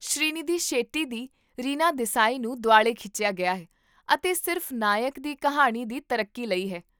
ਸ਼੍ਰੀਨਿਧੀ ਸ਼ੈੱਟੀ ਦੀ ਰੀਨਾ ਦੇਸਾਈ ਨੂੰ ਦੁਆਲੇ ਖਿੱਚਿਆ ਗਿਆ ਹੈ ਅਤੇ ਸਿਰਫ਼ ਨਾਇਕ ਦੀ ਕਹਾਣੀ ਦੀ ਤਰੱਕੀ ਲਈ ਹੈ